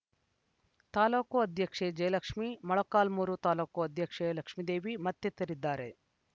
ತಾಲೂಕು ಅಧ್ಯಕ್ಷೆ ಜಯಲಕ್ಷ್ಮಿ ಮೊಳಕಾಲ್ಮೂರು ತಾಲೂಕು ಅಧ್ಯಕ್ಷೆ ಲಕ್ಷ್ಮೇದೇವಿ ಮತ್ತಿತರರಿದ್ದರು